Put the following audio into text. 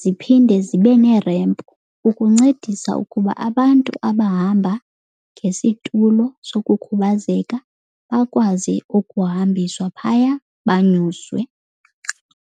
ziphinde zibe nerempu ukuncedisa ukuba abantu abahamba ngesitulo sokukhubazeka bakwazi ukuhambiswa phaya banyuswe.